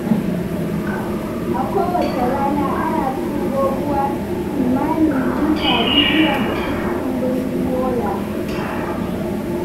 A kowace rana, ana turo ruwa kimanin lita miliyan uku cikin birnin Yola.